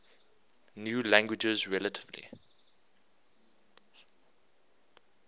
new languages relatively